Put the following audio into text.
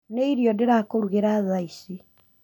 Nĩ irio ndĩrakũrugĩra thaa ici